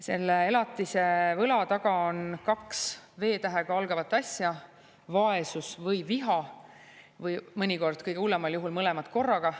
Selle elatise võla taga on kaks V-tähega algavat asja: vaesus ja viha, või mõnikord, kõige hullemal juhul mõlemad korraga.